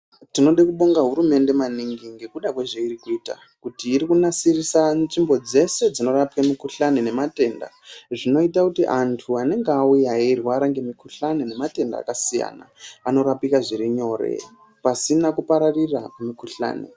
Tinode kubonga hurumende maningi ngekuda kwezvairi kuita kuti iri kunasirise nzvimbo dzese dzinorape mukuhlani nematenda. Zvinoite kuti antu anenge auya eirwara nge mukuhlani nematenda akasiyana anorapika zviri nyore pasina kupararira kwemukuhlani.